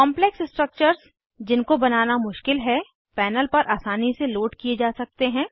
complex structures जिनको बनाना मुश्किल है पैनल पर आसानी से लोड किये जा सकते हैं